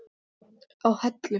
á Hellu.